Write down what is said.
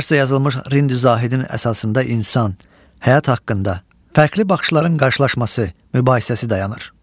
Farsda yazılmış Rindi Zahidin əsasında insan həyatı haqqında fərqli baxışların qarşılaşması, mübahisəsi dayanır.